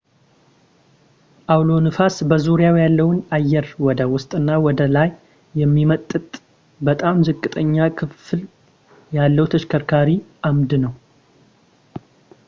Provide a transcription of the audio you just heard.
አውሎ ነፋስ በዙሪያው ያለውን አየር ወደ ውስጥና ወደ ላይ የሚመጥጥ በጣም ዝቅተኛ ግፊት ያለው ተሽከርካሪ አምድ ነው